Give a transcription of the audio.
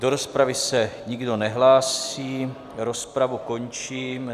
Do rozpravy se nikdo nehlásí, rozpravu končím.